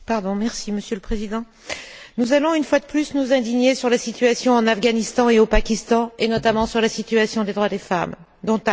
Monsieur le Président, nous allons une fois de plus nous indigner sur la situation en Afghanistan et au Pakistan, et notamment sur la situation des droits des femmes, dont acte.